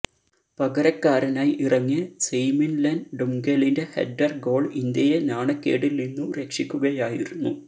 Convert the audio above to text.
പകരക്കാരനായി ഇറങ്ങിയ സെയ്മിന്ലെന് ഡുംഗെലിന്റെ ഹെഡ്ഡര് ഗോള് ഇന്ത്യയെ നാണക്കേടില് നിന്നു രക്ഷിക്കുകയായിരുന്നു